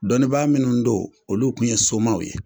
Dɔnnibaa minnu do olu kun ye somaw ye